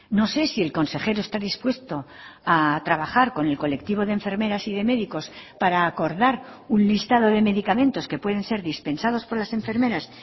no sé si el consejero está dispuesto a trabajar con el colectivo d enfermeras y de médicos para acordar un listado de medicamentos que pueden ser dispensados por las enfermeras